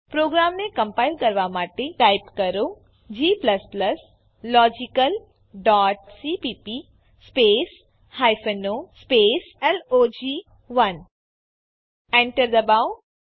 પ્રોગ્રામને કમ્પાઈલ કરવા માટે ટાઈપ કરો g logicalસીપીપી o લોગ1 એક્ઝીક્યુટ કરવા માટે ટાઈપ કરો log1 Enter દબાવો